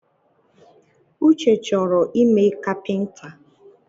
Uche chọrọ ime kapinta